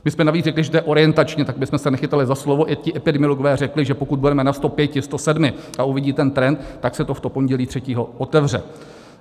My jsme navíc řekli, že to je orientačně, tak abychom se nechytali za slovo - i ti epidemiologové řekli, že pokud budeme na 105, 107 a uvidí ten trend, tak se to v to pondělí 3. otevře.